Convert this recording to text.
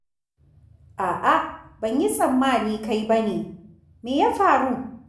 A'a, ban yi tsammani kai ba ne! Me ya faru?